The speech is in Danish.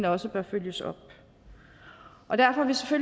også bør følges op og derfor